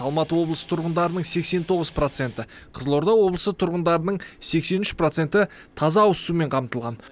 алматы облысы тұрғындарының сексен тоғыз проценті қызылорда облысы тұрғындарының сексен үш проценті таза ауызсумен қамтылған